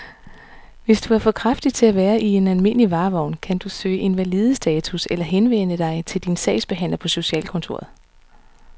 Hvis du er for kraftig til at være i en almindelig varevogn, kan du kan søge invalidestatus eller henvende dig til din sagsbehandler på socialkontoret.